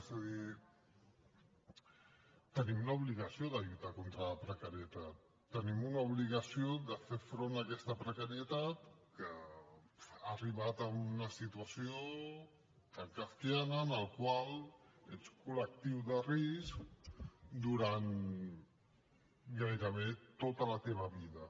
és a dir tenim l’obligació de lluitar contra la precarietat tenim una obligació de fer front a aquesta precarietat que ha arribat a una situació tan kafkiana en la qual ets col·lectiu de risc durant gairebé tota la teva vida